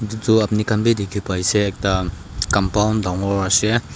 itu apuni khan bi dikhi paise ekta compound dangor ase.